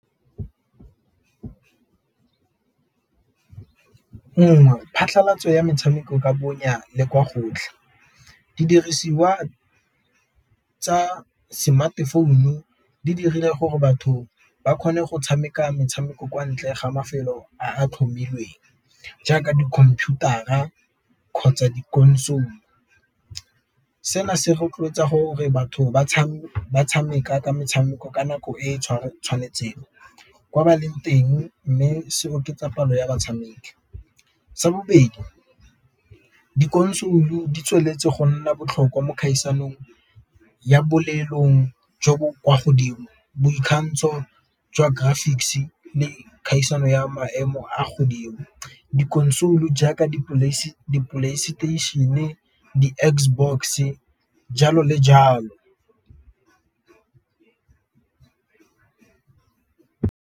Nngwe phatlhalatso ya metshameko ka bonya le kwa gotlhe, didirisiwa tsa smartphone di dirile gore batho ba kgone go tshameka metshameko kwa ntle ga mafelo a a tlhomilweng, jaaka dikomputara a kgotsa di-console seno se rotloetsa gore batho ba tshameka metshameko ka nako e e tshwanetseng kwa ba leng mme se oketsa palo ya batshameki. Sa bobedi di-consule di tsweletse go nna botlhokwa mo dikgaisanong ya jo bo kwa godimo, boikgantsho jwa graphics le kgaisano ya maemo a godimo. Di-console jaaka playstation-e, di-Xbox, jalo le jalo.